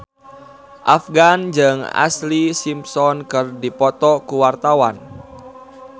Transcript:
Afgan jeung Ashlee Simpson keur dipoto ku wartawan